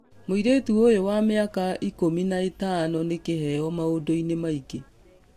Mũirĩtu ũyũ wa mĩaka ikũmi na ithano nĩ kĩheo maũndũ-inĩ maingĩ.